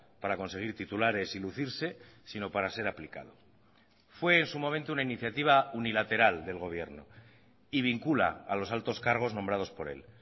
para conseguir titulares y lucirse sino para ser aplicado fue en su momento una iniciativa unilateral del gobierno y vincula a los altos cargos nombrados por él